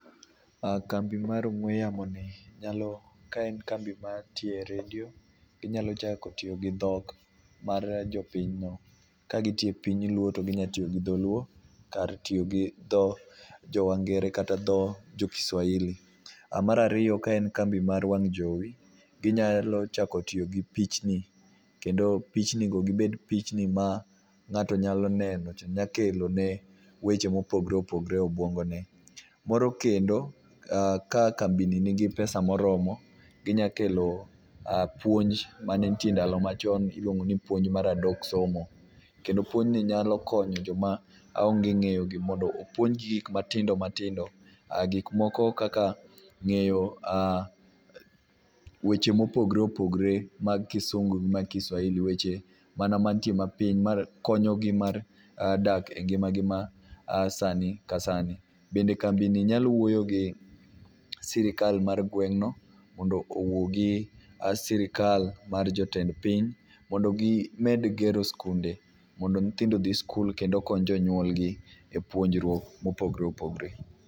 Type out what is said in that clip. Kambi mar ong'we yamo ni nyalo, ka en kambi mar tiyo e redio, ginyalo chako tiyo gi dhok mar jopiny no. Kagitiyo e piny luo to ginya tiyo gi dholuo kar tiyo gi dho jo wangere kata dho jo kiswahili. Mar ariyo ka en kambi mar wang' jowi, ginyalo chako tiyo gi pichni, kendo pichni go gibed pichni ma ng'ato nyalo neno to nyakelo ne weche mopogore opogore e obwongo ne. Moro kendo, ka kambi ni nigi pesa moromo, ginya kelo puonj mane nitie ndalo machon, iluongo ni puonj mar adok somo. Kendo puonj ni nyalo konyo joma onge ng'eyo gi mondo opouonj gi gik matindo matindo. Gik moko kaka ng'eyo weche mopogore opogore mag kisungu gi mag kiswahili. Weche mana mantie mapiny makonyo gi mar dak e ngima gi ma sani ka sani. Bende kambi ni nyalo wuoyo gi sirkal mar gweng' no mondo owuo gi sirkal mar jotend piny mondo gimed gero skunde mondo nyithindo odhi sikul kendo okony jonyuol gi e puonjruok mopogore opogore.